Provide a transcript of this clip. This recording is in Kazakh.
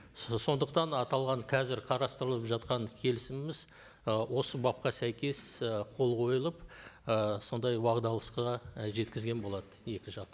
сондықтан аталған қазір қарастырылып жатқан келісіміміз ы осы бапқа сәйкес ы қол қойылып ы сондай жеткізген болады екі жақ